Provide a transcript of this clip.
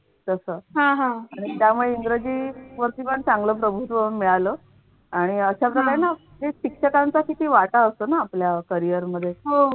तसं त्यामुळे इंग्रजी वरती पण चांगलं प्रभुत्व मिळाल आणि अशाप्रकारे ना हे शिक्षकांचा किती वाटा असतो ना आपल्या carrier मध्ये तसं